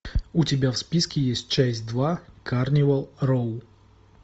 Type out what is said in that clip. у тебя в списке есть часть два карнивал роу